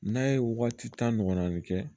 N'a ye waati tan ɲɔgɔnna kɛ